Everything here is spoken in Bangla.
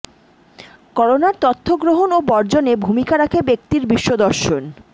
করোনার তথ্য গ্রহণ ও বর্জনে ভূমিকা রাখে ব্যক্তির বিশ্বদর্শন